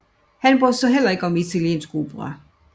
Han brød sig heller ikke om italiensk opera